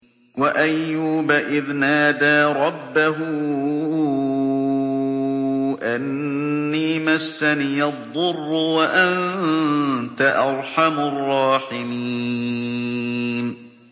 ۞ وَأَيُّوبَ إِذْ نَادَىٰ رَبَّهُ أَنِّي مَسَّنِيَ الضُّرُّ وَأَنتَ أَرْحَمُ الرَّاحِمِينَ